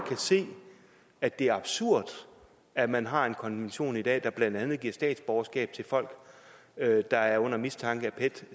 kan se at det er absurd at man har en konvention i dag der blandt andet giver statsborgerskab til folk der er under mistanke af pet